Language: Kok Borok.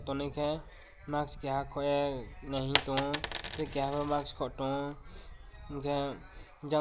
omokhe mask keha khoye nahing tongio tei keha bo mask khob tongo hingkhe jang.